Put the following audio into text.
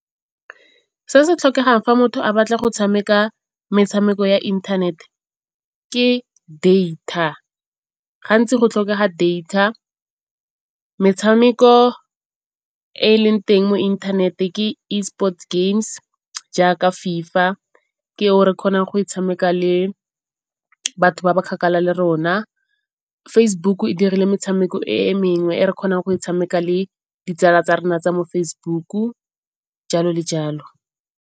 Se se tlhokegang fa motho a batla go tshameka metshameko ya internet ke data, gantsi go tlhokega data. Metshameko e e leng teng mo internet ke Esports games jaaka FIFA, ke o re kgonang go e tshameka le batho ba ba kgakala le rona. Facebook e dirile metshameko e mengwe e re kgonang go e tshameka le ditsala tsa rona tsa mo Facebook-u, jalo le jalo.